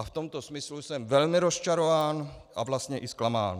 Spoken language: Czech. A v tomto smyslu jsem velmi rozčarován a vlastně i zklamán.